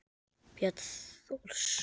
Björn Thors.